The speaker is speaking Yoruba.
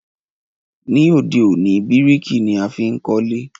Ní òde òní, bíríkì ni a fi n kólé